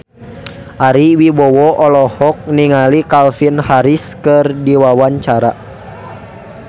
Ari Wibowo olohok ningali Calvin Harris keur diwawancara